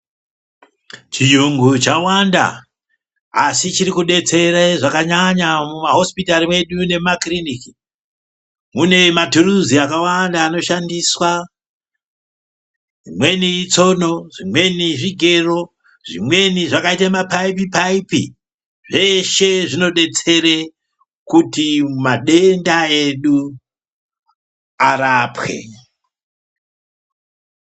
Chiyungu chawanda asi chiri kudetsere zvakanyanya muma hosipitari medu nemu makiriniki mune matuluzi akawanda ano shandiswa imweni itsono zvimweni zvigero zvimweni zvakaita mapaipi paipi zveshe zvino detsere kuti madenda edu arapwe.